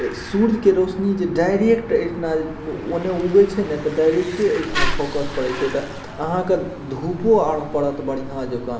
इ सूरज के रोशनी जो डायरेक्ट इतना ओने उगे छै ना डायरेक्ट इतना फोकस परत छई आहा के धूपों आड़ परत बढ़िया जगह --